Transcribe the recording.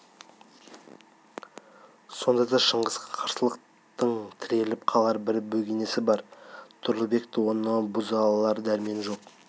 сонда да шыңғысқа қарсылықтың тіреліп қалар бір бөгесіні бар тұрлыбекте оны бұза алар дәрмен жоқ